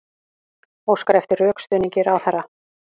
Óskar eftir rökstuðningi ráðherra